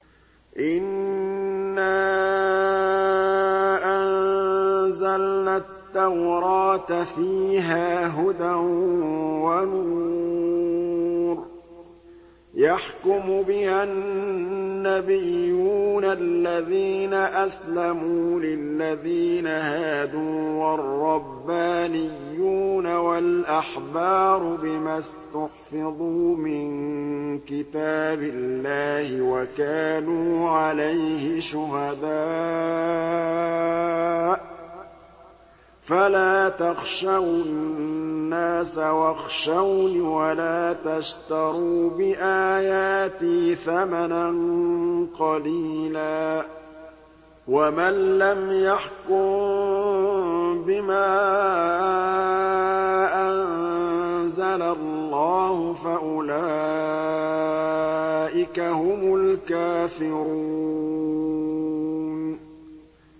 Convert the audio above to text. إِنَّا أَنزَلْنَا التَّوْرَاةَ فِيهَا هُدًى وَنُورٌ ۚ يَحْكُمُ بِهَا النَّبِيُّونَ الَّذِينَ أَسْلَمُوا لِلَّذِينَ هَادُوا وَالرَّبَّانِيُّونَ وَالْأَحْبَارُ بِمَا اسْتُحْفِظُوا مِن كِتَابِ اللَّهِ وَكَانُوا عَلَيْهِ شُهَدَاءَ ۚ فَلَا تَخْشَوُا النَّاسَ وَاخْشَوْنِ وَلَا تَشْتَرُوا بِآيَاتِي ثَمَنًا قَلِيلًا ۚ وَمَن لَّمْ يَحْكُم بِمَا أَنزَلَ اللَّهُ فَأُولَٰئِكَ هُمُ الْكَافِرُونَ